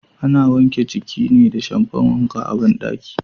Ana wanke jiki ne da shamfan wanka a bandaki.